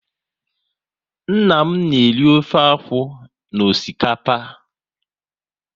Nna m na eri ofe akwụ na osikapa